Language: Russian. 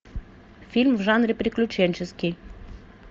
фильм в жанре приключенческий